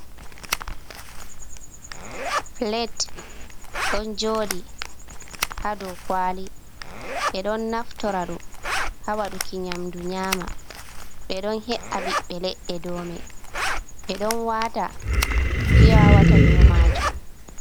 Pilet ɗon joɗi ha dou kwali, ɓe ɗon naftora ɗum hawaɗuki nyamdu nyama, ɓe ɗon he’a biɓbe leɗɗe dou mai, ɓe ɗon wata piyawata dou majuum.